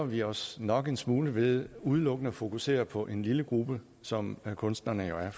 vi os nok en smule ved udelukkende at fokusere på en lille gruppe som kunstnerne jo er